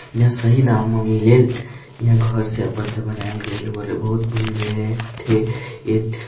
यहां सही दाम म मिलेल यहां घर से अपन से बनायेल गेल और बहुत भीड़ रहे थे ए।